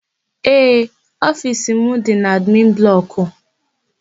Ee, ofiisi m dị n'admin blọkụ.